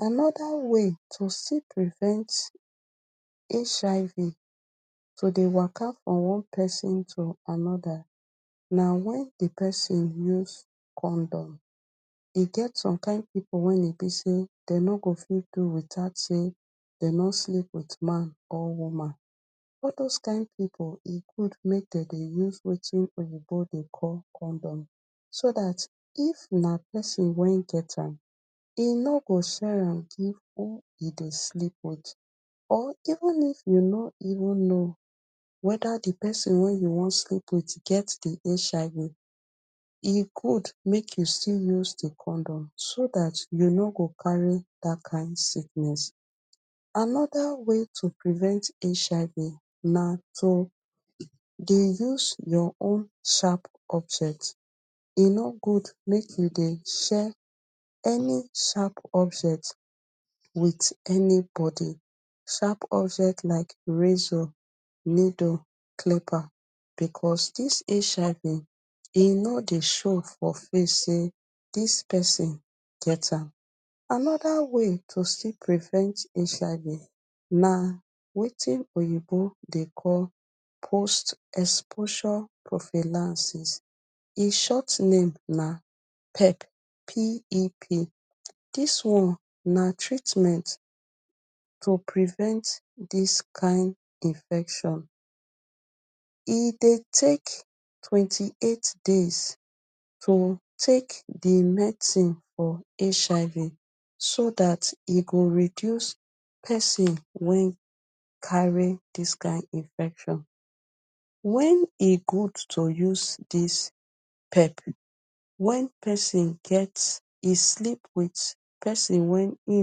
Anoda way to still prevent HIV to dey waka from one person to anoda na wen di person use condom. E get some kind pipu wen e be sey den no go fit do without sey den nor sleep wit man or woman. All dose kind pipu e good mek den dey use wetin oyinbo dey call condom, so dat if na person wen get am, e no go share am give who im dey sleep wit. Or even if you nor even know weda di person wey you wan sleep wit get di HIV, e good mek you still use di condom, so dat you no go carry dat kind sickness. Anoda way to prevent HIV na to dey use your own sharp object, e no good mek you dey share any sharp object wit anybody. Sharp object like razor, needle, clipper, because dis HIV e nor dey show for face sey dis person get am. Anoda way to still prevent HIV na wetin oyinbo dey call post-exposure profenaisis. E short name na pep, P.E.P. Dis one na treatment to prevent dis kind infection. E dey take twenty-eight days to take di medicine for HIV, so dat e go reduce person wey carry dis kind infection. When e good to use dis pep, wen person get, e sleep wit person wey e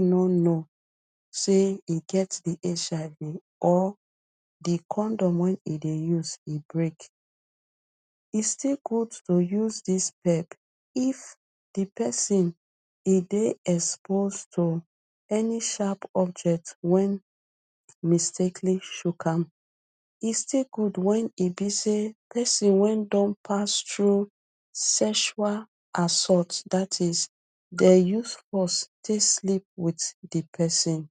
nor know sey e get di HIV or di condom wey im dey use, e break. E still good to use dis pep, if di person e dey expose to any sharp object wen mistakely chook am. E still good wen e be sey person wey don pass tru sextual assault, dat is dey use force tek sleep wit di person.